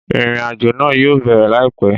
Ìrìnàjò náà yóò bẹ̀rẹ̀ láìpẹ́